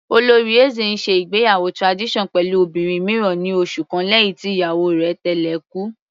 Olóyè Eze ń ṣe ìgbéyàwó tradition pẹ̀lú obìnrin mìíràn ní oṣù kan lẹ́hìn tí ìyàwó rẹ̀ tẹ́lẹ̀ kú.